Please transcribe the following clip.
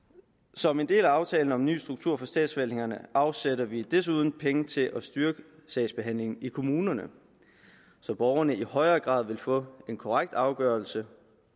som en del af aftalen om en ny struktur for statsforvaltningerne afsætter vi desuden penge til at styrke sagsbehandlingen i kommunerne så borgerne i højere grad vil få en korrekt afgørelse